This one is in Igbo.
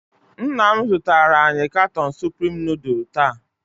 Nna m zụtara anyị katon supreme nudul taa.